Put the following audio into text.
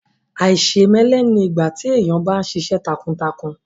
Àìṣèmẹ́lẹ́ ni ìgbà tí èèyàn bá ṣiṣẹ́ takuntakun